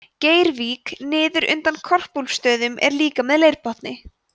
gorvík niður undan korpúlfsstöðum er líka með leirbotni